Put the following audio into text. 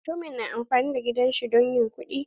Mutumin na amfani da gidan shi don yin kuɗi.